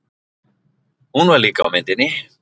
Hún var líka á myndinni.